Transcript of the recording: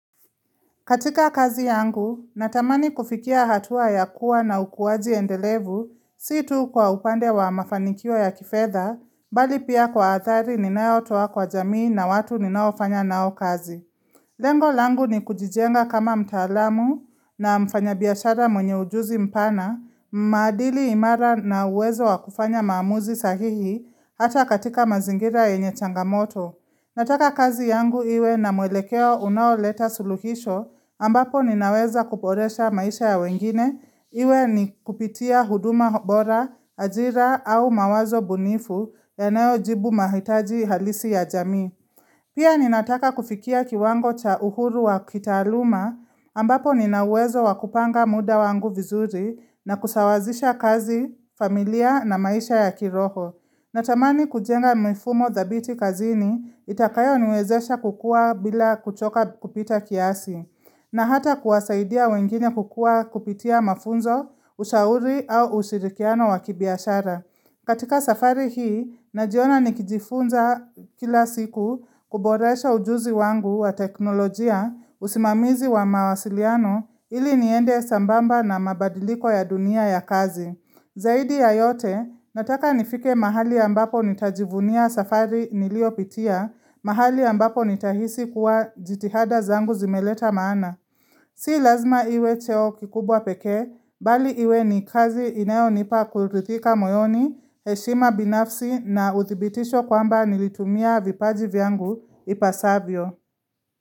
Katika kazi yangu, natamani kufikia hatua ya kuwa na ukuwaji endelevu si tu kwa upande wa mafanikio ya kifedha, bali pia kwa athari ninayotoa kwa jamii na watu ninaofanya nao kazi. Lengo langu ni kujijenga kama mtaalamu na mfanya biashara mwenye ujuzi mpana, maadili imara na uwezo wa kufanya maamuzi sahihi hata katika mazingira yenye changamoto. Nataka kazi yangu iwe na mwelekeo unaoleta suluhisho ambapo ninaweza kuboresha maisha ya wengine iwe ni kupitia huduma bora, ajira au mawazo bunifu yanayo jibu mahitaji halisi ya jami. Pia ninataka kufikia kiwango cha uhuru wa kitaluma ambapo nina uwezo wa kupanga muda wangu vizuri na kusawazisha kazi, familia na maisha ya kiroho. Natamani kujenga mifumo dhabiti kazini itakayo niwezesha kukua bila kuchoka kupita kiasi, na hata kuwasaidia wengine kukua kupitia mafunzo, ushauri au ushirikiano wakibiashara. Katika safari hii, najiona nikijifunza kila siku kuboresha ujuzi wangu wa teknolojia usimamizi wa mawasiliano ili niende sambamba na mabadiliko ya dunia ya kazi. Zaidi ya yote, nataka nifike mahali ambapo nitajivunia safari niliopitia, mahali ambapo nitahisi kuwa jitihada zangu zimeleta maana. Si lazima iwe cheo kikubwa pekee, bali iwe ni kazi inayo nipa kuridhika moyoni, heshima binafsi na uthibitisho kwamba nilitumia vipaji vyangu ipasavyo.